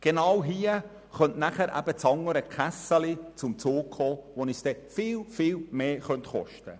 Genau an diesem Punkt könnte nachher die andere Kasse zum Zug kommen und uns dann viel, viel mehr kosten.